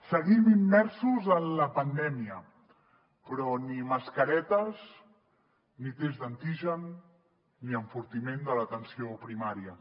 seguim immersos en la pandèmia però ni mascaretes ni tests d’antigen ni enfortiment de l’atenció primària